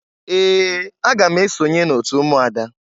Ee! Aga m esonye n'otu ụmụada.